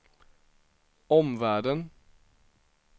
omvärlden